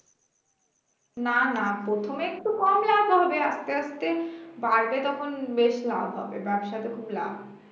না না প্রথমে একটু কম লাভ হবে আস্তে আস্তে বাড়বে তখন বেশ লাভ হবে ব্যবসাতে খুব লাভ